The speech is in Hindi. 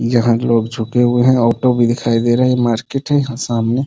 यहाँ लोग झुके हुए हैं ऑटो भी दिखाई दे रहे हैं मार्केट है यहाँ सामने ।